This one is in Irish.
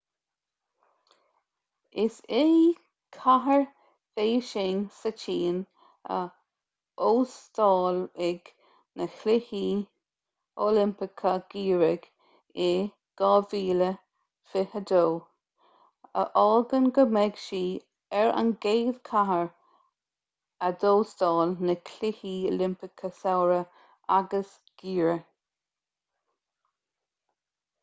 is í cathair bhéising sa tsín a óstálfaidh na cluichí oilimpeacha geimhridh in 2022 a fhágann go mbeidh sí ar an gcéad chathair a d'óstáil na cluichí oilimpeacha samhraidh agus geimhridh